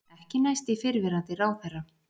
Ekki næst í fyrrverandi ráðherra